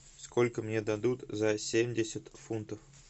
сколько мне дадут за семьдесят фунтов